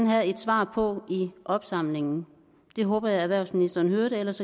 have et svar på i opsamlingen det håber jeg erhvervsministeren hørte ellers